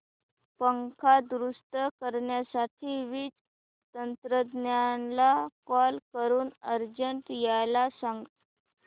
पंखा दुरुस्त करण्यासाठी वीज तंत्रज्ञला कॉल करून अर्जंट यायला सांग